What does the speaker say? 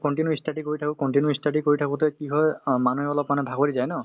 continue ই study কৰি থাকো continue ই study কৰি থাকোতে কি হয় অ মানুহে অলপমানে ভাগৰি যায় ন